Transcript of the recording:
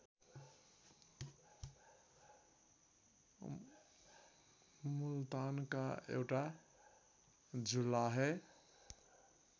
मुल्तानका एउटा जुलाहे